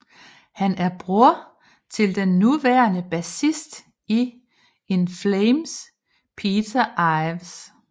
Han er bror til den nuværende bassist i In Flames Peter Iwers